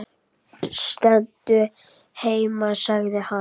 Stendur heima sagði hann.